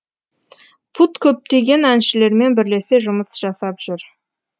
пут көптеген әншілермен бірлесе жұмыс жасап жүр